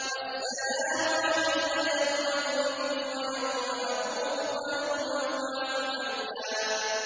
وَالسَّلَامُ عَلَيَّ يَوْمَ وُلِدتُّ وَيَوْمَ أَمُوتُ وَيَوْمَ أُبْعَثُ حَيًّا